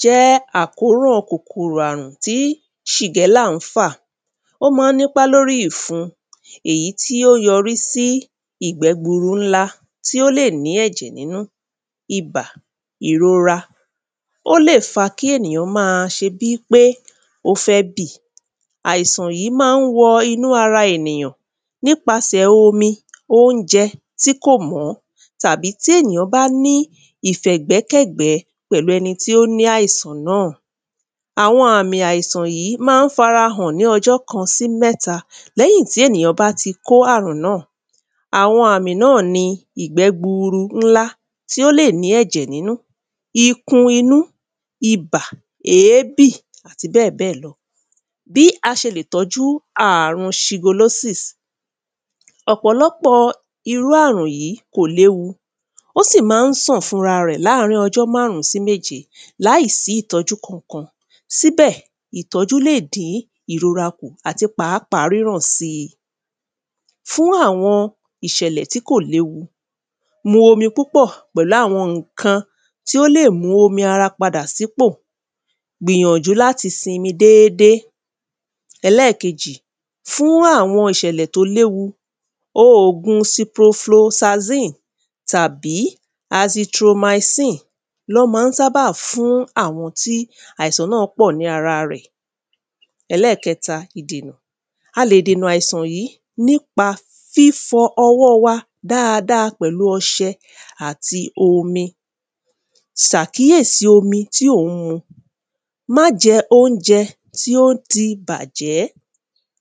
jẹ́ àkóràn kòkòrọ̀ àrùn tí ṣìgẹ́la n fà. Ó má n nípá lórí ìrun èyí tí o yọrí sí ìgbẹ́burú ńlá to lè ní ẹ̀jẹ̀ nínú, ibà, ìrórá, o lè fa kí èyàn má ṣé bí pé o fẹ bì Àisàn yìí má n wọ inú ara enìyàn nípásẹ̀ omi, óunjẹ́ ti kò mọ̀ọ́, tàbi tí èyàn bá ní ìfẹ̀gbẹ́kẹ́gbẹ̀ẹ́ pẹ̀lú ẹni tí o ní àisàn náa. Awọn àmì àisàn yìí má farahàn ní ọjọ́ kan sí mẹ́ta, lẹ́hìn tí èyàn bá ti kó àrùn náa Awọn àmì náa ni ìgbẹ́ gburu ńlá tí o lè ní ẹjẹ̀ nínú, ikun inú, ibà, èébì àtí bẹ́ẹ̀bẹ́ẹ̀ lọ Bí a ṣè lẹ̀ tọ́jú àrùn ṣígolósìs. ọ̀pọ̀lọpọ̀ irú àrùn yìí kò léwu O sì má sàn fún ara rẹ̀ láàrín ọjọ́ márùn-ún sí méje láìsí ìtọ́jú kan kan sí bẹ́ ìtọ́jú le dín ìrórá kù ati páàpáà ríràn si fún awọn ìṣẹ̀lẹ̀ tí kò lẹ́wu mu omi púpọ̀ pẹ̀lú awọn ǹkan tí o lè mu omi ara pádà sí pò, gbìyànjú láti simi dédé `ẹlẹ́kejì fún awọn ìṣẹ̀lẹ̀ to lẹ́wu òógun ciprofrozazine tàbí hazitromysine lọ́ ma ń sábà fún awọn tí àisàn náa pò ní ara rẹ̀.ẹlẹ́kẹ́ta ìdènà, a lè dènà àisàn yìí nípa fífọ ọwọ́ wa dáàdáà pẹ̀lú ọṣẹ ati omi sàkíesí omi tí ò ń mu Má jẹ́ óunjẹ tí o ti bàjẹ́